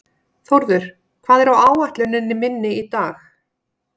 Þórður, hvað er á áætluninni minni í dag?